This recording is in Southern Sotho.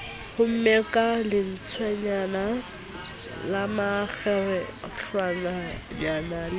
homme ka lentswenyana lemakgerehlwanyana le